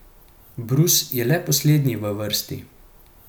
Brus je le poslednji v vrsti.